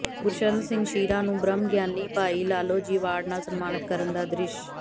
ਗੁਰਸ਼ਰਨ ਸਿੰਘ ਸ਼ੀਰਾ ਨੂੰ ਬ੍ਰਹਮ ਗਿਆਨੀ ਭਾਈ ਲਾਲੋ ਜੀ ਐਵਾਰਡ ਨਾਲ ਸਨਮਾਨਤ ਕਰਨ ਦਾ ਦ੍ਰਿਸ਼